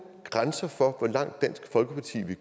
grænser for hvor langt dansk folkeparti